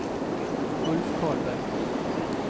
Ulf Karlberg